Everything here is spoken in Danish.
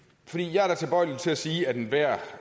jeg er tilbøjelig til at sige at enhver